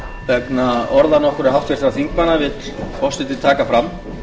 vegna orða nokkurra háttvirtra þingmanna vill forseti taka fram